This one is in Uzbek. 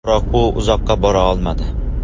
Biroq u uzoqqa bora olmadi.